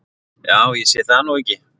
Ja, ég sé það nú ekki.